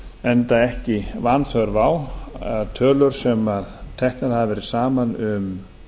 enda ekki vanþörf á tölur sem teknar hafa verið saman um